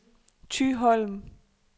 Thyholm